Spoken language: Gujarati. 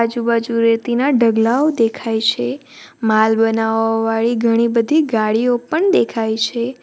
આજુબાજુ રહેતી ના ઢગલાઓ દેખાય છે માલ બનાવવા વાળી ઘણી બધી ગાડીઓ પણ દેખાય છે.